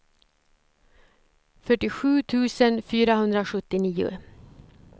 fyrtiosju tusen fyrahundrasjuttionio